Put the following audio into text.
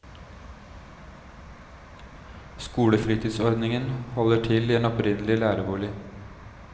Skolefritidsordningen holder til i en opprinnelig lærerbolig.